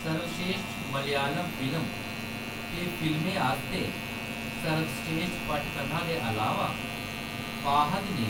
सर्वश्रेश्ठ मलयालम फिल्म ते फिल्में आस्तै सर्वश्रेश्ठ पटकथा दे अलावा, फ़ाहद ने